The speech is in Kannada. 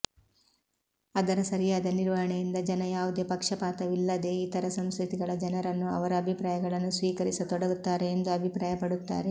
ಅದರ ಸರಿಯಾದ ನಿರ್ವಹಣೆಯಿಂದ ಜನ ಯಾವುದೇ ಪಕ್ಷಪಾತವಿಲ್ಲದೇ ಇತರ ಸಂಸ್ಕೃತಿಗಳ ಜನರನ್ನು ಅವರ ಅಭಿಪ್ರಾಯಗಳನ್ನು ಸ್ವೀಕರಿಸತೊಡಗುತ್ತಾರೆ ಎಂದು ಅಭಿಪ್ರಾಯಪಡುತ್ತಾರೆ